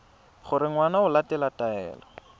gore ngwana o latela taelo